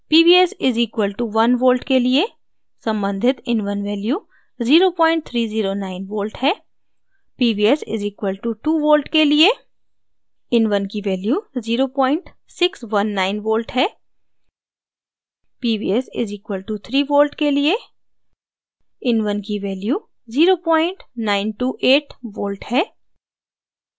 pvs = 1 volt के लिए सम्बन्धित in1 value 0309 volt है